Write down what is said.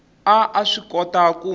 a a swi kota ku